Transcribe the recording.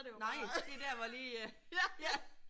Nej det der hvor lige ja